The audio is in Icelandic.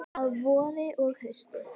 Að vori og hausti.